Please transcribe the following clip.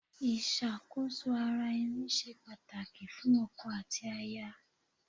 Ìṣàkóso ara ẹni ṣe pàtàkì fún ọkọ àti aya.